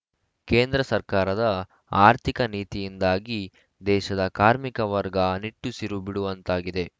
ಕೇಂದ್ರ ಸರ್ಕಾರದ ಆರ್ಥಿಕ ನೀತಿಯಿಂದಾಗಿ ದೇಶದ ಕಾರ್ಮಿಕ ವರ್ಗ ನಿಟ್ಟುಸಿರು ಬಿಡುವಂತಾಗಿದೆ